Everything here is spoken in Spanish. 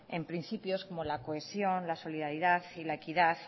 en principios como la cohesión la solidaridad y la equidad